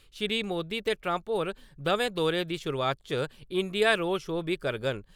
श्री मोदी ते ट्रम्प होरे दवै दौरे दी शुरुआत च इंडिया रोड शो बी करङन ।